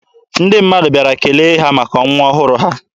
Ndị mmadụ bịara kele ha maka nwa ọhụrụ ha.